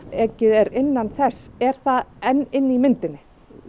ekið er innan þess er það enn inni í myndinni